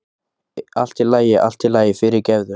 Allt í lagi, allt í lagi, fyrirgefðu.